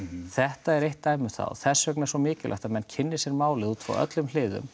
þetta er eitt dæmi um það og þess vegna er svo mikilvægt að menn kynni sér málið út frá öllum hliðum